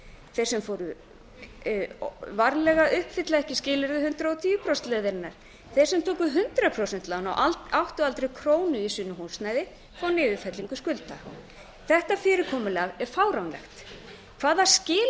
þeir sem sem fóru varlega uppfylla ekki skilyrði hundrað og tíu prósenta leiðarinnar þeir sem tóku hundrað prósent lán og áttu aldrei krónu í sínu húsnæði fá niðurfellingu skulda þetta fyrirkomulag er fáránlegt hvaða